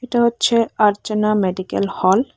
এটা হচ্ছে Archana medical hall.